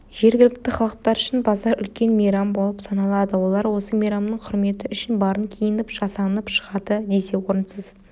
жергілікті халықтар үшін базар үлкен мейрам болып саналады олар осы мейрамның құрметі үшін барын киініп жасанып шығады десе орынсыз